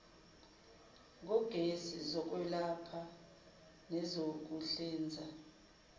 ngogesi zokwelapha nezokuhlinza